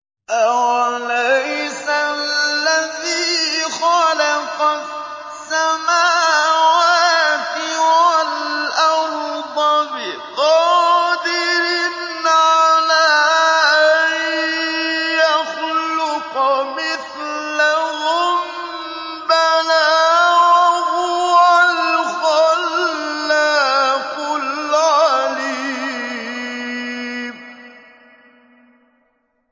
أَوَلَيْسَ الَّذِي خَلَقَ السَّمَاوَاتِ وَالْأَرْضَ بِقَادِرٍ عَلَىٰ أَن يَخْلُقَ مِثْلَهُم ۚ بَلَىٰ وَهُوَ الْخَلَّاقُ الْعَلِيمُ